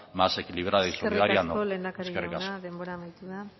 más equilibrada y solidaria no eskerrik asko eskerrik asko lehendakari jauna denbora amaitu da